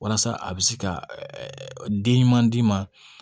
Walasa a bɛ se ka den ɲuman d'i ma